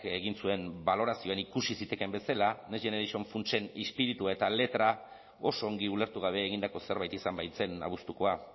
egin zuen balorazioen ikusi zitekeen bezala next generation funtsen izpiritua eta letra oso ongi ulertu gabe egindako zerbait izan baitzen abuztukoa